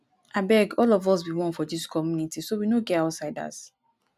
abeg all of us be one for dis community so we no get outsiders